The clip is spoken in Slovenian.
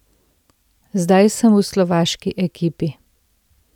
Zdaj sem v slovaški ekipi.